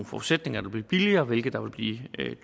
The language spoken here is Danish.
forudsætninger vil blive billigere og hvilke der vil blive